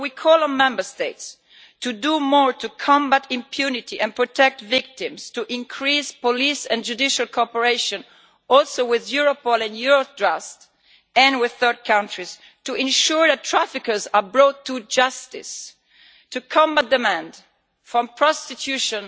We call on the Member States to do more to combat impunity and protect victims, to increase police and judicial cooperation, including with Europol, Eurojust and third countries, to ensure that traffickers are brought to justice, to combat demand for prostitution